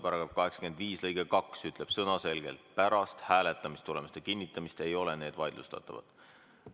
Paragrahvi 85 lõige 2 ütleb sõnaselgelt: pärast hääletamistulemuste kinnitamist ei ole need vaidlustatavad.